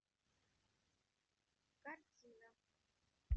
картина